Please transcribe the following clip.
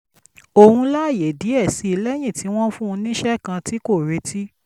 òun láyè díẹ̀ sí i lẹ́yìn tí wọ́n fún un níṣẹ́ kan tí kò retí